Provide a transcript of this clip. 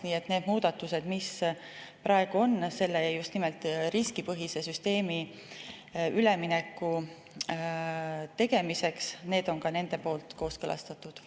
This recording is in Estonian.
Nii et need muudatused, mis praegu on tehtud just nimelt riskipõhisele süsteemile üleminemiseks, on nende poolt kooskõlastatud.